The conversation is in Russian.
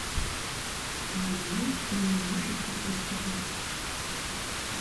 сезон один фильма мыслить как преступник